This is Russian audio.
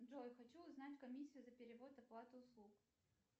джой хочу узнать комиссию за перевод оплаты услуг